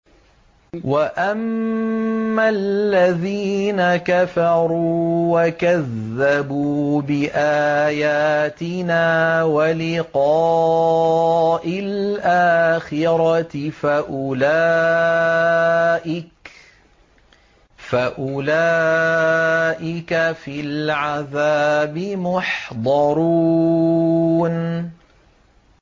وَأَمَّا الَّذِينَ كَفَرُوا وَكَذَّبُوا بِآيَاتِنَا وَلِقَاءِ الْآخِرَةِ فَأُولَٰئِكَ فِي الْعَذَابِ مُحْضَرُونَ